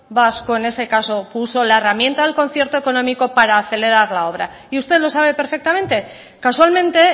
vasco en ese caso puso la herramienta al concierto económico para acelerar la obra y usted lo sabe perfectamente casualmente